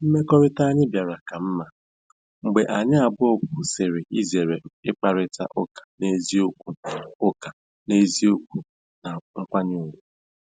Mmekọrịta anyị bịara ka mma mgbe anyị abụọ kwụsịrị izere ịkparịta ụka n'eziokwu ụka n'eziokwu na nkwanye ùgwù.